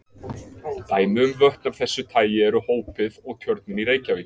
Dæmi um vötn af þessu tagi eru Hópið og Tjörnin í Reykjavík.